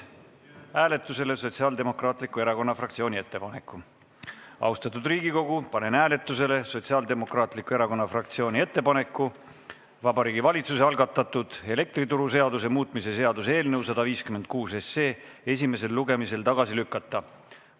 Austatud Riigikogu, panen hääletusele Sotsiaaldemokraatliku Erakonna fraktsiooni ettepaneku Vabariigi Valitsuse algatatud elektrituruseaduse muutmise seaduse eelnõu 156 esimesel lugemisel tagasi lükata.